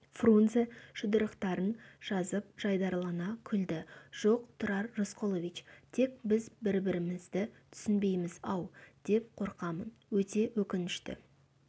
фрунзе жұдырықтарын жазып жайдарылана күлді жоқ тұрар рысқұлович тек біз бір-бірімізді түсінбейміз-ау деп қорқамын өте өкінішті